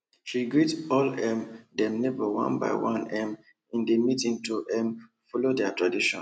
she greet all um dem neighbor one by one um in the meeting to um follow their tradition